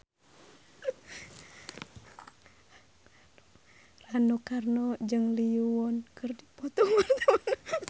Rano Karno jeung Lee Yo Won keur dipoto ku wartawan